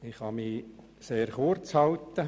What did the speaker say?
Ich kann mich sehr kurz halten.